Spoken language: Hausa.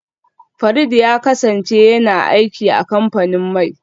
Farid ya kasance yana aiki a kamfanin mai